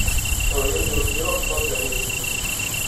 Xoyodhi Osiro baada ayay kudumtey.